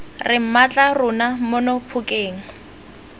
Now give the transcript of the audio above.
re mmatla rona mono phokeng